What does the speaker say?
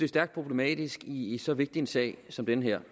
stærkt problematisk i i så vigtig en sag som den her